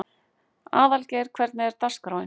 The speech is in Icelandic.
Aðalgeir, hvernig er dagskráin?